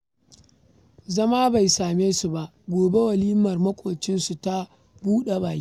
Zama bai same su ba, gobe walimar maƙwabcinsu ta buɗa-baki